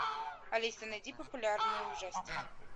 алиса найди популярные ужастики